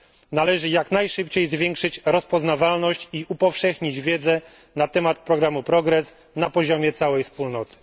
Należy jak najszybciej zwiększyć rozpoznawalność i upowszechnić wiedzę na temat programu Progress na poziomie całej Wspólnoty.